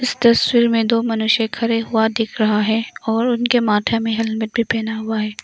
इस तस्वीर में दो मनुष्य खड़े हुआ दिख रहा है और उनके माथे में हेलमेट भी पहना हुआ है।